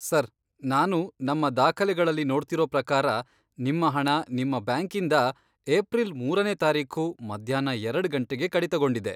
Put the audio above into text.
Sir, ನಾನು ನಮ್ಮ ದಾಖಲೆಗಳಲ್ಲಿ ನೋಡ್ತಿರೋ ಪ್ರಕಾರ, ನಿಮ್ಮ ಹಣ ನಿಮ್ಮ ಬ್ಯಾಂಕಿಂದ ಏಪ್ರಿಲ್ ಮೂರನೇ ತಾರೀಖು, ಮಧ್ಯಾಹ್ನ ಎರಡ್ ಗಂಟೆಗೆ ಕಡಿತಗೊಂಡಿದೆ.